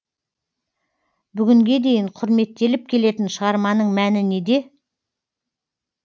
бүгінге дейін құрметтеліп келетін шығарманың мәні неде